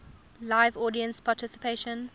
live audience participation